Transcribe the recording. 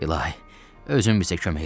İlahi, özün bizə kömək elə!